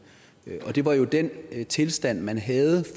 og det var jo den tilstand man havde